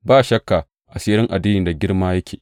Ba shakka, asirin addini da girma yake.